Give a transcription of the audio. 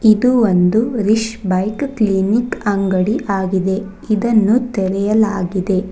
ಇದು ಒಂದು ರಿಶ್ ಬೈಕ್ ಕ್ಲಿನಿಕ್ ಅಂಗಡಿ ಆಗಿದೆ ಇದನ್ನು ತೆರೆಯಲಾಗಿದೆ.